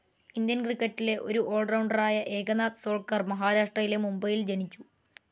Indian ക്രിക്കറ്റിലെ ഒരു all rounder ആയ ഏകനാഥ് സോൾക്കർ മഹാരാഷ്ട്രയിലെ മുംബൈയിൽ ജനിച്ചു.